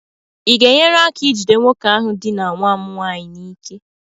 ị ga-enyere aka ijide nwoke ahụ dinaa nwa m nwaanyị n'ike?